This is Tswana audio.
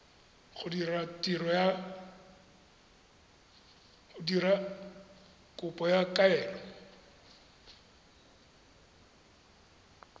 go dira kopo ya kaelo